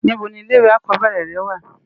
Nibò ni ilé iwé ákòbèrè rè wá?